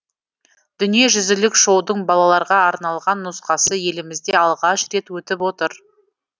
дүниежүзілік шоудың балаларға арналған нұсқасы елімізде алғаш рет өтіп отыр